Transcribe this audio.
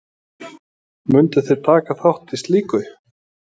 Mundu þið taka þátt í slíku?